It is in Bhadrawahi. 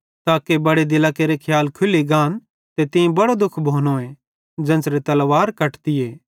ताके बड़े दिलां केरे खियाल खुल्ली गान ते तीं बड़ो दुःख भोनोए ज़ेन्च़रे तलवार कटतीए